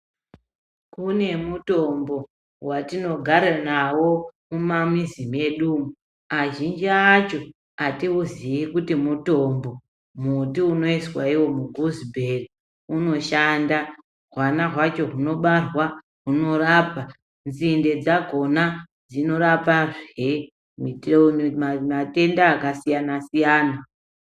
Kune mutombo wetinogara nawo mumamizi medu umo, azhinji acho atiuzii kuti mutombo. Muti unoizwa iwo muguzibheri unoshanda, hwana hwacho hunobarwa hunorapa, nzinde dzakhona dzinorapahe matenda akasiyana-siyana.